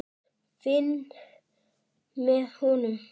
Finn með honum.